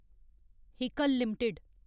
Haeckel limited